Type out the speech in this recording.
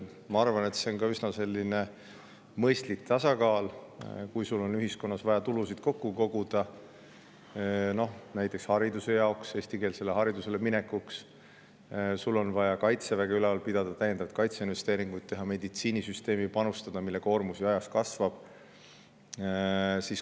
Ma arvan, et see tekitab üsna mõistliku tasakaalu, kui ühiskonnas on vaja tulusid kokku koguda, näiteks hariduse jaoks, eestikeelsele haridusele üleminekuks, või on vaja kaitseväge ülal pidada, täiendavaid kaitseinvesteeringuid teha, või panustada ka meditsiinisüsteemi, mille koormus ju ajaga kasvab.